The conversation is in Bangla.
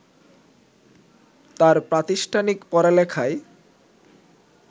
তার প্রাতিষ্ঠানিক পড়ালেখায়